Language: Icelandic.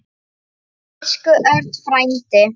Elsku Örn frændi.